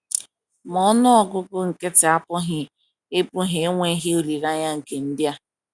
Ma ọnụ ọgụgụ nkịtị apụghị ikpughe enweghị olileanya nke ndị a.